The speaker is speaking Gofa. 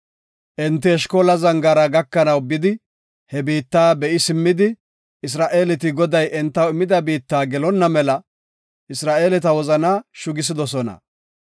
Enti Eshkola Zangaara gakanaw bidi he biitta be7i simmidi Isra7eeleti Goday entaw immida biitta gelonna mela Isra7eeleta wozanaa shugisidosona.